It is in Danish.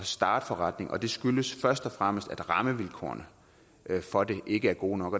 starte forretning og det skyldes først og fremmest at rammevilkårene for det ikke er gode nok